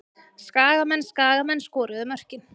Skagamenn Skagamenn skoruðu mörkin.